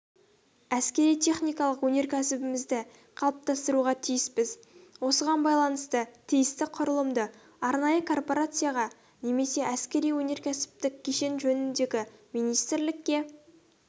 әскери-техникалық өнеркәсібімізді қалыптастыруға тиіспіз осыған байланысты тиісті құрылымды арнайы корпорацияға немесе әскери-өнеркәсіптік кешен жөніндегі министрлікке